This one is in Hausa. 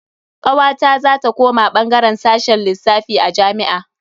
Kawata za ta koma bangaren sashen lissafi a jami'a.